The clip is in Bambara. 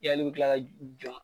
Yali i bi kila ka jɔn